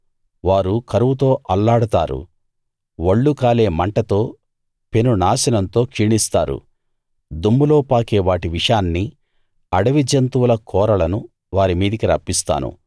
వారు కరువుతో అల్లాడతారు ఒళ్ళు కాలే మంటతో పెను నాశనంతో క్షీణిస్తారు దుమ్ములో పాకే వాటి విషాన్నీ అడివి జంతువుల కోరలనూ వారిమీదికి రప్పిస్తాను